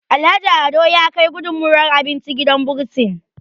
Alhaji Ado ya Kai gudunmawar abinci gidan bursin